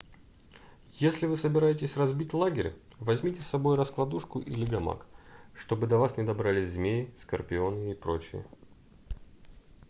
если вы собираетесь разбить лагерь возьмите с собой раскладушку или гамак чтобы до вас не добрались змеи скорпионы и прочие